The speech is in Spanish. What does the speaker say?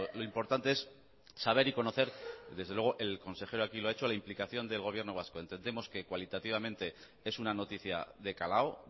lo importante es saber y conocer desde luego el consejero aquí lo ha hecho a la implicación del gobierno vasco entendemos que cualitativamente es una noticia de calado